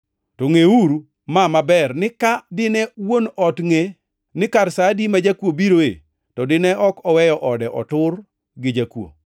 To ngʼeuru ma maber ni ka dine wuon ot ngʼe ni kar sa adi ma jakuo biroe to dine ok oweyo ode otur gi jakuo.